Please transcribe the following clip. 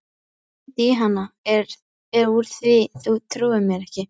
Hringdu í hana úr því þú trúir mér ekki.